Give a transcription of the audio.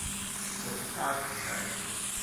поставь даффи